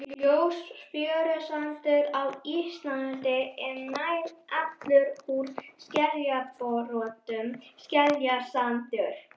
Ljós fjörusandur á Íslandi er nær allur úr skeljabrotum, skeljasandur.